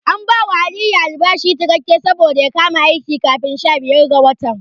An bawa Aliyu albashi cikakke saboda ya kama aiki kafin sha biyar ga watan.